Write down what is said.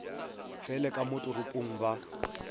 fele ka mo toropong ba